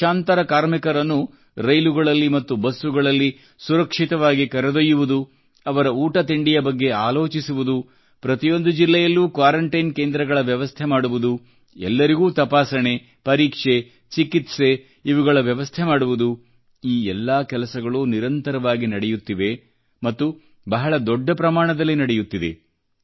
ಲಕ್ಷಾಂತರ ಕಾರ್ಮಿಕರನ್ನು ರೈಲುಗಳಲ್ಲಿ ಮತ್ತು ಬಸ್ಸುಗಳಲ್ಲಿ ಸುರಕ್ಷಿತವಾಗಿ ಕರೆದೊಯ್ಯುವುದು ಅವರ ಊಟ ತಿಂಡಿಯ ಬಗ್ಗೆ ಆಲೋಚಿಸುವುದು ಪ್ರತಿಯೊಂದು ಜಿಲ್ಲೆಯಲ್ಲೂ ಕ್ವಾರಂಟೈನ್ ಕೇಂದ್ರಗಳ ವ್ಯವಸ್ಥೆ ಮಾಡುವುದು ಎಲ್ಲರಿಗೂ ತಪಾಸಣೆ ಪರೀಕ್ಷೆ ಚಿಕಿತ್ಸೆ ಇವುಗಳ ವ್ಯವಸ್ಥೆ ಮಾಡುವುದು ಈ ಎಲ್ಲಾ ಕೆಲಸಗಳೂ ನಿರಂತರವಾಗಿ ನಡೆಯುತ್ತಿವೆ ಮತ್ತು ಬಹಳ ದೊಡ್ಡ ಪ್ರಮಾಣದಲ್ಲಿ ನಡೆಯುತ್ತಿದೆ